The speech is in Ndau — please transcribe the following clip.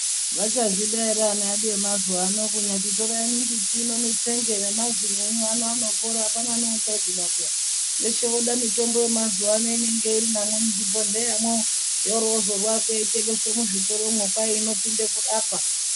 Vachazvida ere vana vedu vemazuva ano kunyati torai mimbiti ino mutsenge nemazino enyu ano anopora apana neuchazvida peya veshe voda mitombo ino yemazuwa ano inenge iri namwo muzvibhodhleyamwo yorozorwa yeitengeswe muzvitoromwo kwai inopinde kurapa.